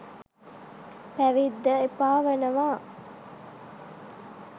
පැවිද්ද එපාවනවා.